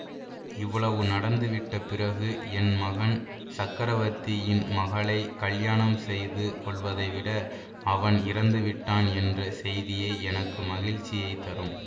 இவ்வளவு நடந்து விட்ட பிறகு என் மகன் சக்கரவர்த்தியின் மகளை கல்யாணம் செய்து கொள்வதைவிட அவன் இறந்துவிட்டான் என்ற செய்தியே எனக்கு மகிழ்ச்சியைத் தரும்